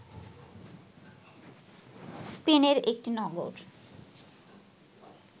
স্পেনের একটি নগর